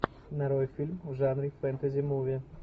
нарой фильм в жанре фэнтези муви